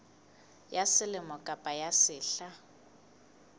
ya selemo kapa ya sehla